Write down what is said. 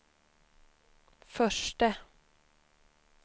förste